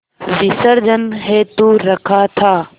विसर्जन हेतु रखा था